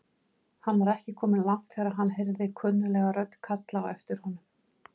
Hann var ekki kominn langt þegar hann heyrði kunnuglega rödd kalla á aftir honum.